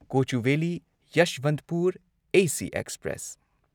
Kochuveli Yesvantpur AC express